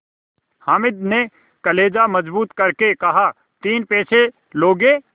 हामिद ने कलेजा मजबूत करके कहातीन पैसे लोगे